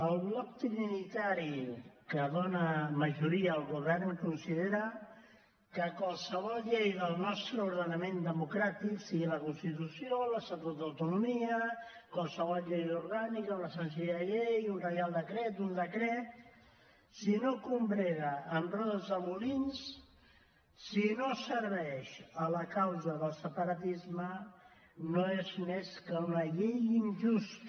el bloc trinitari que dona majoria al govern considera que qualsevol llei del nostre ordenament democràtic sigui la constitució l’estatut d’autonomia qualsevol llei orgànica una senzilla llei un reial decret un decret si no combrega amb rodes de molins si no serveix la causa del separatisme no és més que una llei injusta